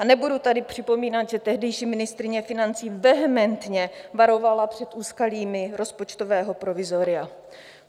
A nebudu tady připomínat, že tehdejší ministryně financí vehementně varovala před úskalími rozpočtového provizoria.